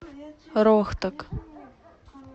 рохтак